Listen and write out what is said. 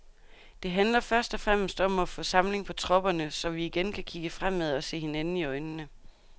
Det handler først og fremmest om at få samling på tropperne, så vi igen kan kigge fremad og se hinanden i øjnene.